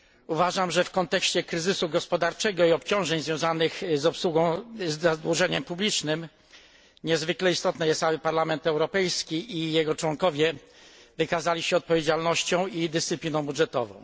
Uważam, że w kontekście kryzysu gospodarczego i obciążeń związanych z obsługą zadłużenia publicznego niezwykle istotne jest, aby Parlament Europejski i jego członkowie wykazali się odpowiedzialnością i dyscypliną budżetową.